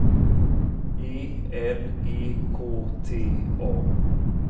E L E K T A